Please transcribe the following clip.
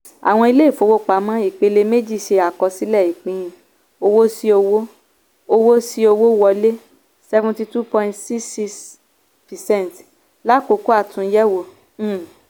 àwọn ilé-ìfowópamọ́ ìpele-méjì ṣe àkọsílẹ̀ ìpín owó sí owó owó sí owó wọlé seventy two point six six percent láàkókò àtúnyẹ̀wò. um